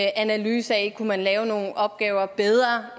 analyse af om man lave nogle opgaver bedre